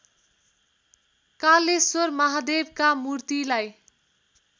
कालेश्वर महादेवका मूर्तिलाई